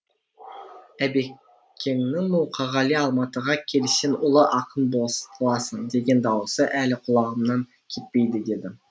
әбекеңнің мұқағали алматыға кел сен ұлы ақын боласың деген дауысы әлі құлағымнан кетпейді деді